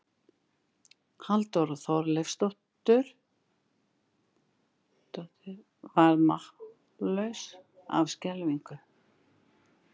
Halldóra Þorleifsdóttir varð mállaus af skelfingu.